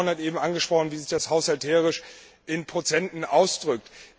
Der Kollege Vaughan hat eben angesprochen, wie sich das haushalterisch in Prozenten ausdrückt.